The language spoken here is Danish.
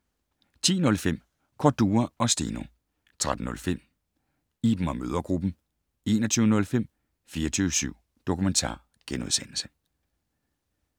10:05: Cordua & Steno 13:05: Iben & Mødregruppen 21:05: 24syv Dokumentar *